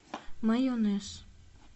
майонез